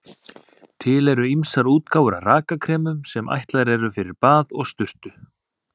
Til eru ýmsar útgáfur af rakakremum sem ætlaðar eru fyrir bað og sturtu.